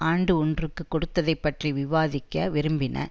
ஆண்டு ஒன்றுக்கு கொடுத்ததை பற்றி விவாதிக்க விரும்பின